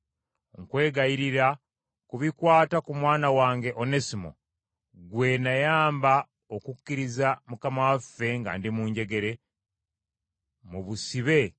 nkwegayirira ku bikwata ku mwana wange Onesimo gwe nayamba okukkiriza Mukama waffe nga ndi mu njegere, mu busibe,